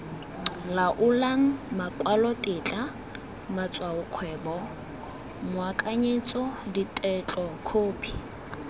laolang makwalotetla matshwaokgwebo moakanyetso ditetlokhophi